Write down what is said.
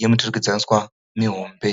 yemuturikidzaniswa mihombe.